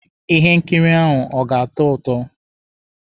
Ihe nkiri ahụ ọ ga-atọ ụtọ?